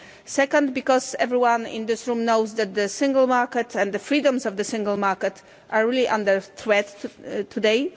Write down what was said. Second, because everyone in this room knows that the Single Market and the freedoms of the Single Market are really under threat today.